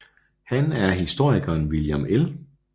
Han er af historikeren William L